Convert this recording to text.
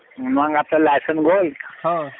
मग आपलं